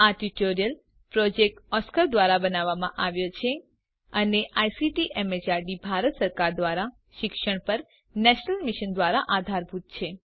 આ tutorial project Oscar ધ્વારા બનાવવામાં આવ્યો છે અને આઇસીટી એમએચઆરડી ભારત સરકાર દ્વારા શિક્ષણ પર નેશનલ મિશન દ્વારા આધારભૂત છે